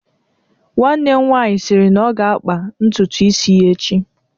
Nwanne m nwanyi sịrị na ọ ga-akpa ntutu isi ya echi